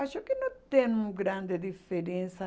Acho que não tem um grande diferença.